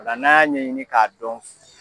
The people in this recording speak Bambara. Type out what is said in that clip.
Ola n'an y'a ɲɛɲini k'a dɔn